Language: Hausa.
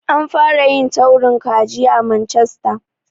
An fara yin taurin kaji a Manchester.